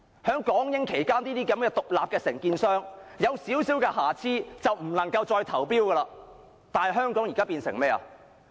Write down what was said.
在港英期間，獨立承建商若有少許瑕疵便不能再投標，但香港現時變成怎樣？